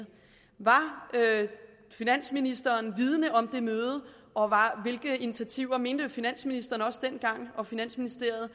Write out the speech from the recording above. var finansministeren vidende om det møde og mente finansministeren og finansministeriet